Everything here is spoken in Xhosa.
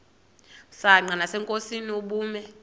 msanqa nasenkosini ubume